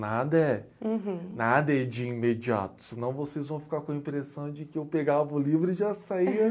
Nada é... Uhum... Nada é de imediato, senão vocês vão ficar com a impressão de que eu pegava o livro e já saía.